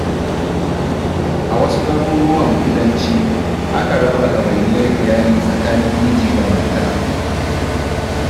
A wasu garuruwan kudanci, akan raba ɗawainiyar iyali tsakanin miji da mata.